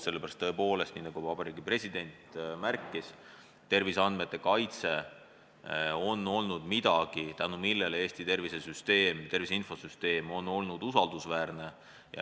Tõepoolest, nii nagu Vabariigi President märkis, terviseandmete kaitse on olnud midagi, tänu millele Eesti tervise infosüsteem on olnud usaldusväärne.